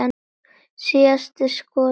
Síðasta skotið á mig.